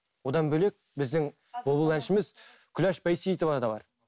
одан бөлек біздің бұлбұл әншіміз күләш бәйсейітова да бар